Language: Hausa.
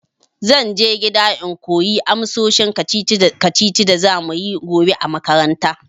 Zan je gida in koyi amsoshin kacici kacicin da za muyi gobe a makaranta.